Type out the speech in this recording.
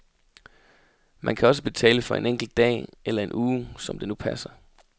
Man kan også betale for en enkelt dag eller en uge, som det nu passer.